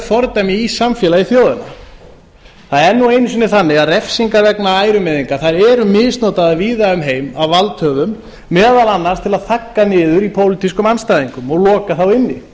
fordæmi í samfélagi þjóðanna það er nú einu sinni þannig að refsingar vegna ærumeiðinga eru misnotaðar víða um heim af valdhöfum meðal annars til að þagga niður í pólitískum andstæðingum og loka þá inni